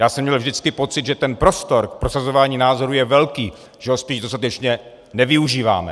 Já jsem měl vždycky pocit, že ten prostor k prosazování názorů je velký, že ho spíš dostatečně nevyužíváme.